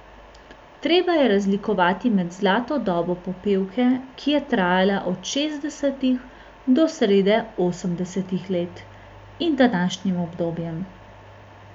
Treba je razlikovati med zlato dobo popevke, ki je trajala od šestdesetih do srede osemdesetih let, in današnjim obdobjem.